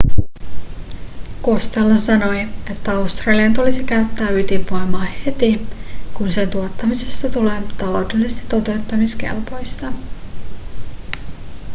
costello sanoi että australian tulisi käyttää ydinvoimaa heti kun sen tuottamisesta tulee taloudellisesti totuttamiskelpoista